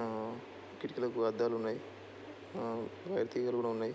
ఆ కిటికీలకు అద్దాలు ఉన్నాయ్. ఆ వైర్ తీగలు కూడా ఉన్నాయ్.